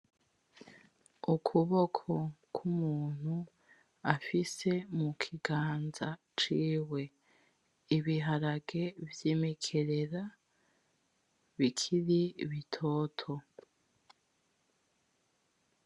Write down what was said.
Ukuboko kw'umuntu afise mukiganza ciwe, ibiharage vy'imikerera bikiri bitoto.